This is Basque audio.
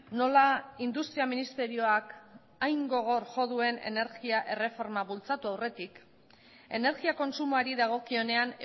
nola industria ministerioak hain gogor jo duen energia erreforma bultzatu aurretik energia kontsumoari dagokionean